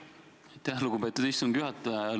Aitäh, lugupeetud istungi juhataja!